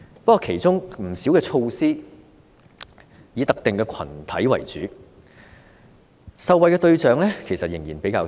不過，其中不少措施都以特定群體為主，受惠對象仍然較窄。